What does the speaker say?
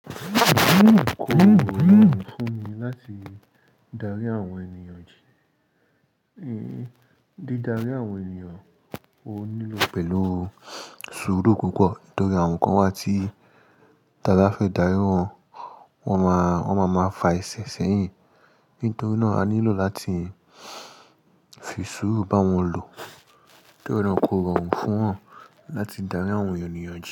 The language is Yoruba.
Kòrọrùn fún mi láti darí àwọn ènìyàn jìn. Di darí àwọn ènìyàn, o nílò pẹ̀lú sùúrú púpọ̀. Torí àwọn kan wà t'abá fẹ́ darí wọn, wọ́n maa fa ẹsẹ̀ sẹ́yìn. Nítorí náà, a nílò láti fi sùúrù bá wọn lò. Nítorí náà kò rọrùn fún yàn láti darí àwọn ènìyàn.